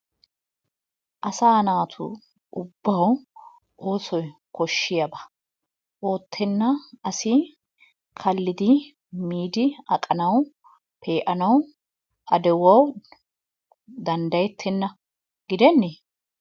Asaa naatu ubbawu oosoy koshshiyaba oottenna asi kallidi miidi aqanawu, pee'anawu, ba de'uwawu danddayettenna giddenne?